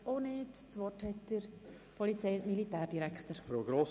Gerne erteile ich Regierungsrat Käser das Wort.